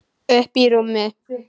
Uppí rúmi.